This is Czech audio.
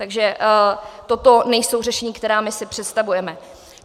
Takže toto nejsou řešení, která my si představujeme.